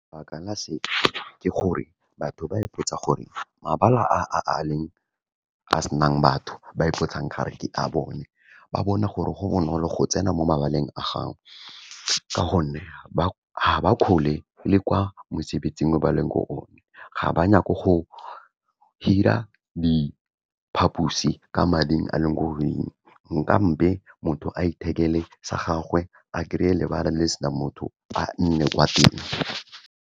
'Baka la se, ke gore batho ba ipotsa gore mabala a a leng a senang batho ba ipotsang nkare ke a bone, ba bona gore go bonolo go tsena mo mabaleng a gao ka gonne fa ba kgole le kwa mesebetsing ba leng ko o ne. Ga ba nyake go hira diphaposi ka mading a e leng goreng nkampe motho a ithekele sa gagwe a kry-e lebale le senang motho a nne kwa teng.